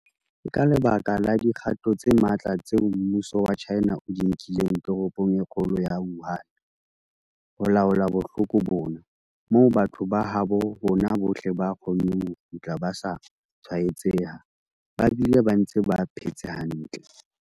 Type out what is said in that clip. Ke ka lebaka la dikgato tse matla tseo mmuso wa China o di nkileng toropong e kgolo ya Wuhan ho laola bohloko bona, moo batho ba habo rona bohle ba kgonneng ho kgutla ba sa tshwaetseha ba bile ba ntse ba phetse hantle.